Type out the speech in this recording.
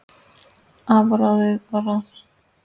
Afráðið var að